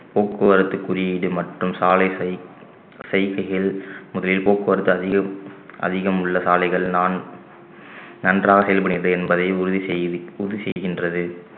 போக்குவரத்து குறியீடு மற்றும் சாலை செய்~ செய்கைகள் முதலில் போக்குவரத்து அதிகம் அதிகம் உள்ள சாலைகள்தான் நன்றாக செயல்படுகிறது என்பதை உறுதி செய்~ உறுதி செய்கின்றது